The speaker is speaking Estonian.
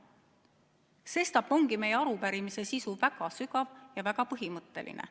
Sestap ongi meie arupärimise sisu väga sügav ja väga põhimõtteline.